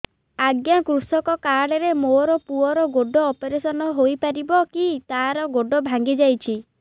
ଅଜ୍ଞା କୃଷକ କାର୍ଡ ରେ ମୋର ପୁଅର ଗୋଡ ଅପେରସନ ହୋଇପାରିବ କି ତାର ଗୋଡ ଭାଙ୍ଗି ଯାଇଛ